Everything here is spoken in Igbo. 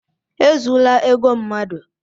E zula ego mmadụ!